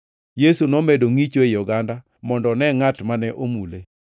Yesu nomedo ngʼicho ei oganda mondo one ngʼat mane omule.